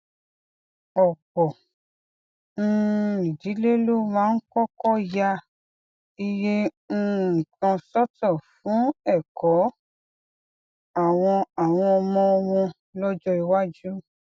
òpò um ìdílé ló máa ń kókó ya iye um kan sótò fún èkó àwọn àwọn ọmọ wọn lójó iwájú